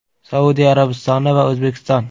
Saudiya Arabistoni va O‘zbekiston.